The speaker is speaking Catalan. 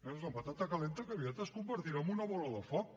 és una patata calenta que aviat es convertirà en una bola de foc